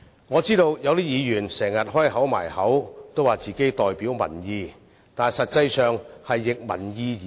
我知道有些議員經常說自己代表民意，但實際上卻是逆民意而行。